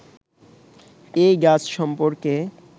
এই গাছ সম্পর্কে